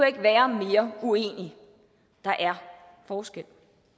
ikke være mere uenig der er forskel